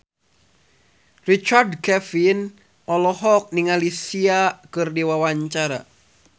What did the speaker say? Richard Kevin olohok ningali Sia keur diwawancara